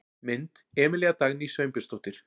Mynd: Emilía Dagný Sveinbjörnsdóttir.